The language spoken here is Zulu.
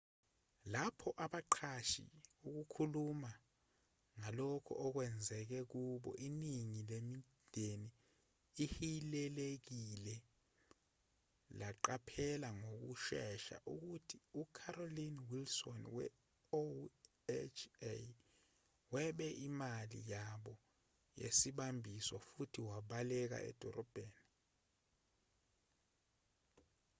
lapho abaqashi beqala ukukhuluma ngalokho okwenzeke kubo iningi lemindeni ehilelekile laqaphela ngokushesha ukuthi ucarolyn wilson we-oha webe imali yabo yesibambiso futhi wabaleka edolobheni